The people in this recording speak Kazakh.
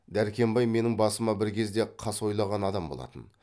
дәркембай менің басыма бір кезде қас ойлаған адам болатын